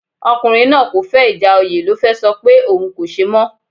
Ọkùnrin náà kò fẹ́ ìjà oyè ló fẹ sọ pé òun kò ṣe mọ́